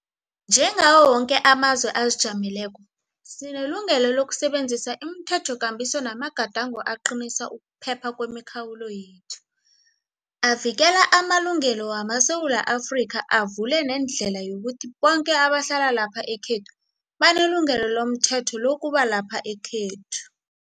Njengawo woke amazwe azijameleko, sinelungelo lokusebenzisa imithethokambiso namagadango aqinisa ukuphepha kwemikhawulo yethu, avikela amalungelo wamaSewula Afrika avule nendlela yokuthi boke abahlala lapha ekhethu banelungelo lomthetho lokuba lapha ekhethu.